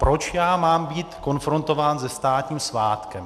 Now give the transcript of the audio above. Proč já mám být konfrontován se státním svátkem?